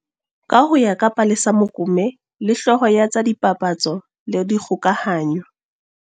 Ka ho ya ka Palesa Mokome le, hlooho ya tsa dipapatso le dikgokahanyo